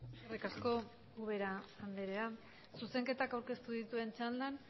eskerrik asko ubera andrea zuzenketak aurkeztu dituzten txandan